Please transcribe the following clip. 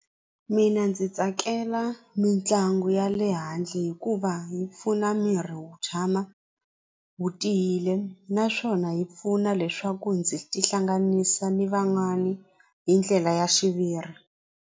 Mina ndzi tsakela mitlangu ya le handle hikuva yi pfuna miri wu tshama wu tiyile naswona yi pfuna leswaku ndzi tihlanganisa ni van'wani hi ndlela ya xiviri.